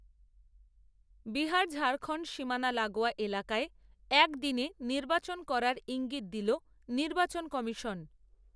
বিহার ঝাড়খণ্ড সীমানা লাগোয়া এলাকায়, এক দিনে নির্বাচন করার ঈঙ্গিত দিল, নির্বাচন কমিশন